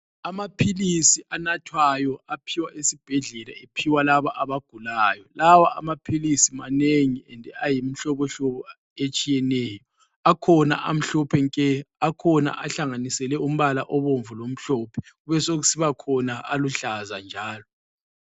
Amaphilisi anathwayo aphiwa esibhedlela ephiwa laba abagulayo .Lawa amaphilisi manengi and ayimihlobo hlobo etshiyeneyo. Akhona amhlophe nke, akhona ahlanganiselwe umbala obomvu lomhlophe kube sokusibakhona aluhlaza njalo.